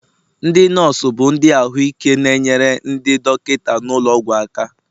ndị nọọsụ bụ ndị ọrụ ahụike na-enyere ndị dọkịta nọ n'ụlọ ọgwụ aka